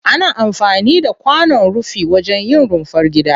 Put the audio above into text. Ana amfani da kwanon rufi wajen yin rumfar gida.